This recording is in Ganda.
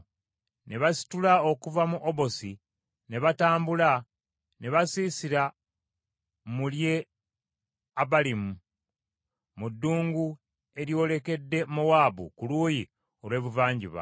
Ne basitula okuva mu Yebosi ne batambula, ne basiisira mu Lye-Abalimu, mu ddungu eryolekedde Mowaabu, ku luuyi olw’ebuvanjuba.